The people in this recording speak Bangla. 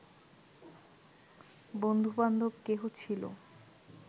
বন্ধুবান্ধব কেহ ছিল